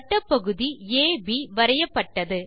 வட்டப்பகுதி அப் வரையப்பட்டது